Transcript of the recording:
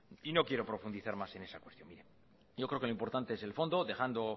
y no quiero profundizar más en esa cuestión yo creo que lo importante es el fondo dejando